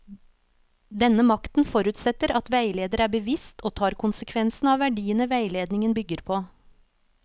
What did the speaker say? Denne makten forutsetter at veileder er bevisst og tar konsekvensene av verdiene veiledningen bygger på.